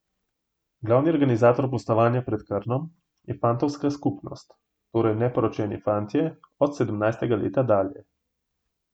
Glavni organizator pustovanja pod Krnom je fantovska skupnost, torej neporočeni fantje od sedemnajstega leta dalje.